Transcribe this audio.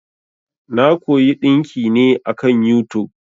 Na koyi ɗinki ne akan yutub.